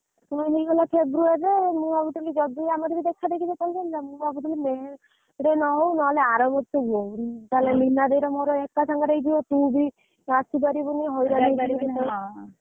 ମୋର ହେଇଗଲା ଫେବ୍ରୁୟାରୀ ରେ ମୁଁ ଭାବୁଥିଲି ଯଦି ଆମର ବି ଦେଖା ଦେଖି ମେ ମାସ ରେ ହଉ ନହେଲେ ଆର ହୁଅଉ ତାହେଲେ ଲିନ ଦେଇର ମୋର ଏକ ସାଙ୍ଗରେ ହେଇଯିବ ତୁ ବି ଆସିପରିବୁନି।